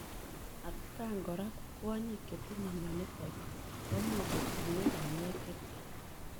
Atkaang koraa ko kwonyik chetinyee mionitok komuuch kotunyee panyeek chechang